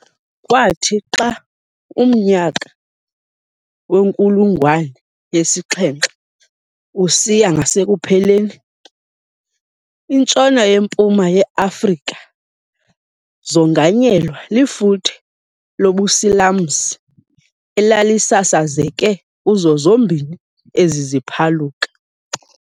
Kwathi xa umnyaka wenkulungwane yesi-7 usiya ngasekupheleni, iNtshona, neMpuma ye-Afrika zonganyelwa lifuthe lobusilamsi elalisasazeke kuzo zombini ezi ziphaluka.